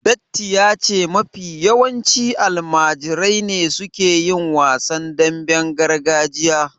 Datti ya ce mafi yawanci almajirai ne suke yin wasan damben gargajiya